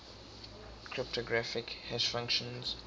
cryptographic hash functions